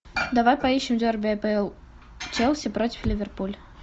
давай поищем дерби апл челси против ливерпуль